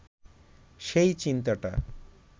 সেই চিন্তাটা